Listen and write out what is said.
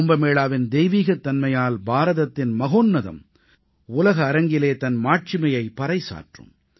கும்பமேளாவின் தெய்வீகத்தன்மையால் பாரதத்தின் மகோன்னதம் உலக அரங்கிலே தன் மாட்சிமையைப் பறைசாற்றும்